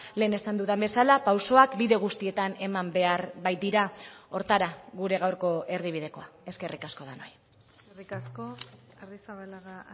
lehen esan dudan bezala pausoak bide guztietan eman behar baitira horretara gure gaurko erdibidekoa eskerrik asko denoi eskerrik asko arrizabalaga